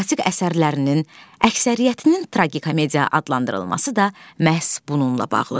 Dramatik əsərlərinin əksəriyyətinin tragikomediya adlandırılması da məhz bununla bağlıdır.